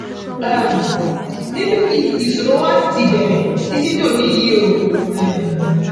um níbí yìí ni ìṣòro wa ṣì ti bẹrẹ títí dòní yìí o um